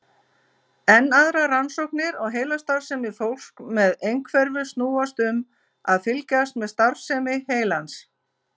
Enn aðrar rannsóknir á heilastarfsemi fólks með einhverfu snúast um að fylgjast með starfsemi heilans.